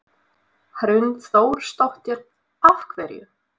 Hrund Þórsdóttir: Af hverju?